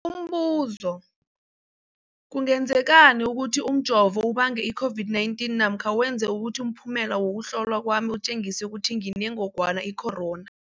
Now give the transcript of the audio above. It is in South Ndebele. Umbuzo, kungenzekana ukuthi umjovo ubange i-COVID-19 namkha wenze ukuthi umphumela wokuhlolwa kwami utjengise ukuthi nginengogwana i-corona?